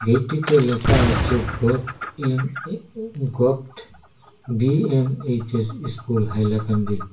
এটিতে লেখা আছে govt in E govt B in H S school Hailakandi.